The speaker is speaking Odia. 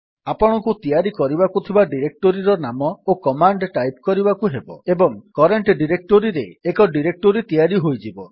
ଆପଣଙ୍କୁ ତିଆରି କରିବାକୁ ଥିବା ଡିରେକ୍ଟୋରୀର ନାମ ଓ କମାଣ୍ଡ୍ ଟାଇପ୍ କରିବାକୁ ହେବ ଏବଂ କରେଣ୍ଟ୍ ଡିରେକ୍ଟୋରୀରେ ଏକ ଡିରେକ୍ଟୋରୀ ତିଆରି ହୋଇଯିବ